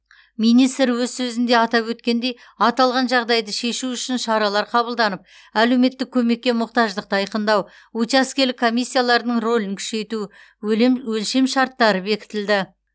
министр өз сөзінде атап өткендей аталған жағдайды шешу үшін шаралар қабылданып әлеуметтік көмекке мұқтаждықты айқындау учаскелік комиссиялардың рөлін күшейту өлем өлшемшарттары бекітілді